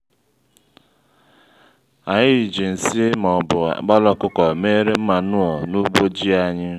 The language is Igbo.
anyị ji nsị ma ọbu àkpala ọkụkọ méré manụo n'ugbo ji anyị